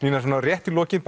svona rétt í lokin